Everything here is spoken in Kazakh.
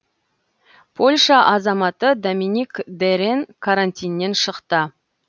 польша азаматы доминик дерен карантиннен шықты